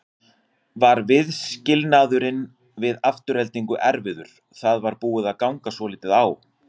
Var viðskilnaðurinn við Aftureldingu erfiður, það var búið að ganga svolítið á?